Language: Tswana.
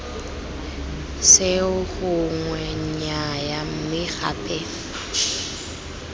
seo gongwe nnyaya mme gape